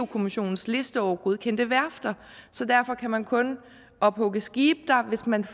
kommissionens liste over godkendte værfter så derfor kan man kun ophugge skibe der hvis man